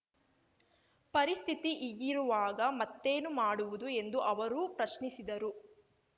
ಪರಿಸ್ಥಿತಿ ಹೀಗಿರುವಾಗ ಮತ್ತೇನು ಮಾಡುವುದು ಎಂದು ಅವರು ಪ್ರಶ್ನಿಸಿದರು